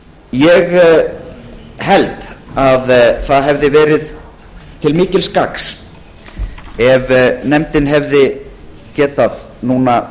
ég held að það hefði verið til mikils gagns ef nefndin hefði getað núna